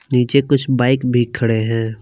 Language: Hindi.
नीचे कुछ बाइक भी खड़े हैं।